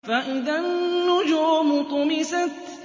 فَإِذَا النُّجُومُ طُمِسَتْ